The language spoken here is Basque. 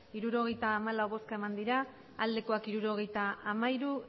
hirurogeita hamalau bai hirurogeita hamairu